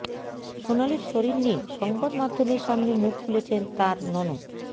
সোনালির শরীর নিয়ে সংবাদমাধ্যমের সামনে মুখ খুলেছেন তাঁর ননদ